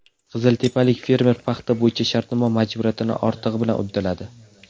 Qiziltepalik fermer paxta bo‘yicha shartnoma majburiyatini ortig‘i bilan uddaladi.